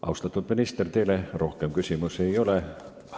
Austatud minister, teile rohkem küsimusi ei ole.